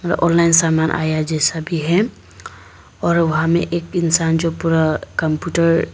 और ऑनलाइन समान आया है जैसा भी है और वहां में एक इंसान जो पूरा कंप्यूटर --